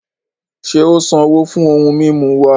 Ṣe o sanwo fún ohùn mímú wà?